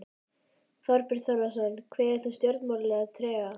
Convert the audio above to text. Þorbjörn Þórðarson: Kveður þú stjórnmálin með trega?